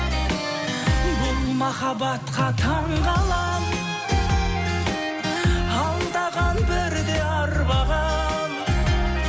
бұл махаббатқа таңғаламын алдаған бірде арбаған